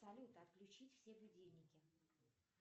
салют отключить все будильники